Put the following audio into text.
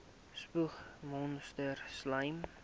spoeg monsters slym